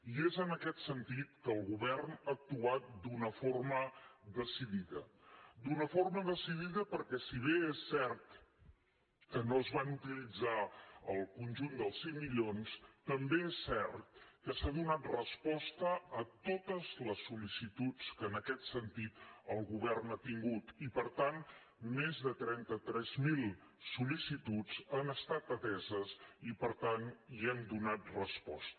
i és en aquest sentit que el govern ha actuat d’una forma decidida d’una forma decidida perquè si bé és cert que no es van utilitzar el conjunt dels cinc milions també és cert que s’ha donat resposta a totes les sol·licituds que en aquest sentit el govern ha tingut i per tant més de trentatres mil sol·licituds han estat ateses i per tant hi hem donat resposta